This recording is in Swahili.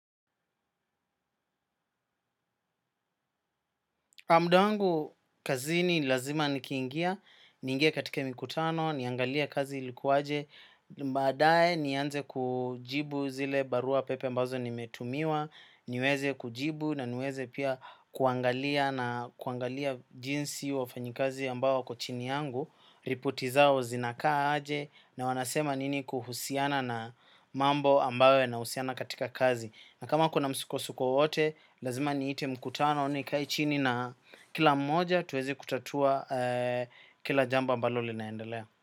Mdangu kazini lazima nikiingia, ningie katike mikutano, niangalia kazi likuaje, baadae nianze kujibu zile barua pepe ambazo nimetumiwa, niweze kujibu naniweze pia kuangalia na kuangalia jinsi wafanyikazi ambao wako chini yangu, ripoti zao zinakaa aje na wanasema nini kuhusiana na mambo ambao yanausiana katika kazi. Na kama kuna msuko suko wote, lazima nite mkutano nikae chini na kila mmoja tuweze kutatua kila jambo ambalo linaendelea.